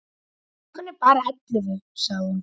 Klukkan er bara ellefu, sagði hún.